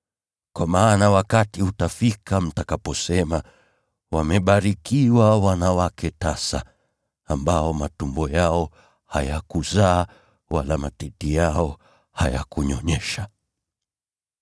Kwa maana wakati utafika mtakaposema, ‘Wamebarikiwa wanawake tasa, ambao matumbo yao hayakuzaa, wala matiti yao hayakunyonyesha!’